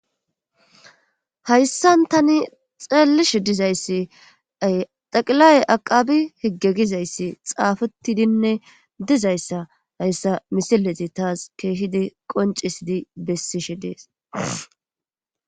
Hayssan tani xeellishe dizayssi xaqilay aqabi higge gizayssi xaafetidinne dizayssa hayssa misileti taas keehidi qoncisidi bessishe dees.